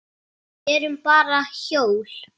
Við erum bara hjól.